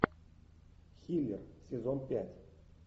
хиллер сезон пять